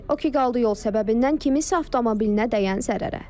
O ki qaldı yol səbəbindən kiminsə avtomobilinə dəyən zərərə.